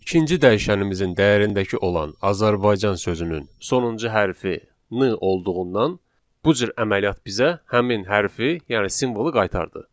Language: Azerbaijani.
İkinci dəyişənimizin dəyərindəki olan Azərbaycan sözünün sonuncu hərfi n olduğundan bu cür əməliyyat bizə həmin hərfi, yəni simvolu qaytardı.